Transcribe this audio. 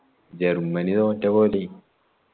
Germany തോറ്റപോലെയ്യ്